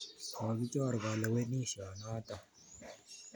Kokichor kalewenisyo notok